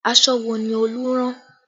Aṣọ wo ni Olú rán?